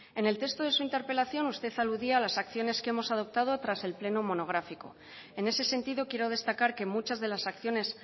en el texto de su interpelación usted aludía a las acciones que hemos adoptado tras el pleno monográfico en ese sentido quiero destacar que muchas de las acciones